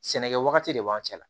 Sɛnɛkɛ wagati de b'an cɛ la